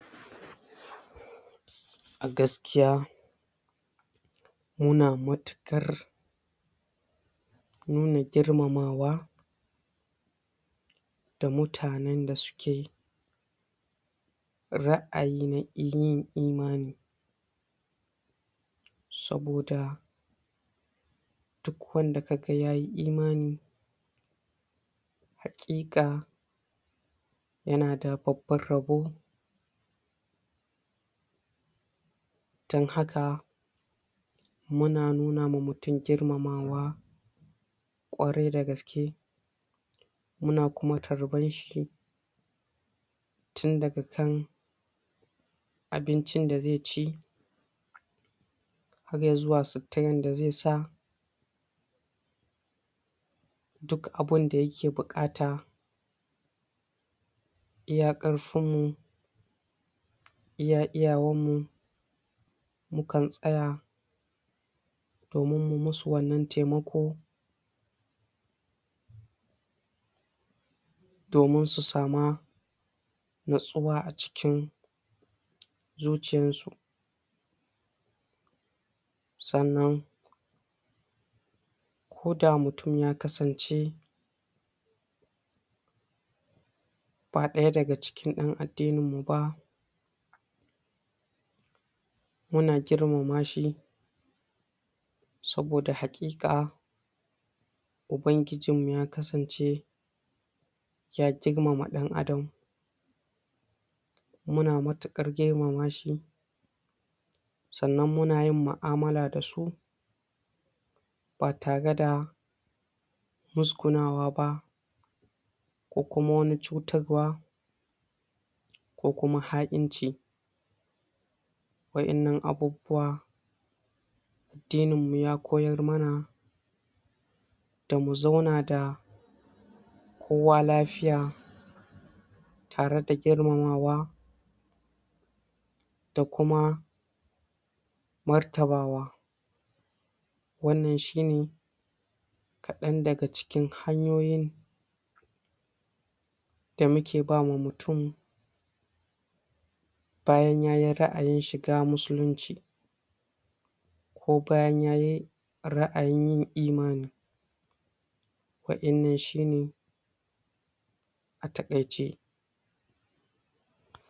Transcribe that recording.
A gaskiya mu na matuƙar nuna girmamawa da mutanen da su ke ra'ayi na yin imani saboda duk wanda ka ga ya yi imani, haƙiƙa ya na da babban rabo, don haka muna nuna ma mutum girmamawa ƙwarai da gaske, mu na kuma tarban shi tun daga kan abincin da zai ci har yi zuwa suturar da zai sa, duk abinda ya ke buƙata iya ƙarfinmu, iya iyawarmu mukan tsaya domin mu ma su wannan taimako, domin su sa mu natsuwa a cikin zuciyansu, sannan koda mutum ya kasance ba ɗaya daga cikin ɗan addininmu ba, mu na girmama shi, saboda haƙiƙa ubanginmu ya kasance ya girmama ɗan adam mu na matuƙar girmama shi, sannan mu na yin mu'amala da su ba tare da muzgunawa ba ko kuma wani cutarwa ko kuma ha'inci, waɗannan abubuwa addininmu ya koyar ma na da mu zauna da kowa lafiya tare da girmamawa da kuma martabawa, wannan shine kaɗan daga cikin hanyoyin da mu ke ba ma mutum bayan ya yi ra'ayin shiga musulunci ko bayan ya yi ra'ayin yin imani, waɗannan shine a taƙaice.